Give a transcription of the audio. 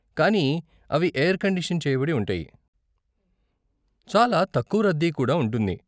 కానీ అవి air condition చేయబడి ఉంటాయి, చాలా తక్కువ రద్దీ కుడా ఉంటుంది.